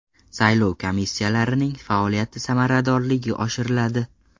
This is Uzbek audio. Saylov komissiyalarining faoliyati samaradorligi oshiriladi.